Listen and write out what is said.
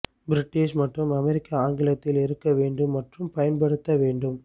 British மற்றும் அமெரிக்க ஆங்கிலத்தில் இருக்க வேண்டும் மற்றும் பயன்படுத்த வேண்டும்